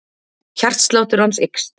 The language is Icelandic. Hjartsláttur hans eykst.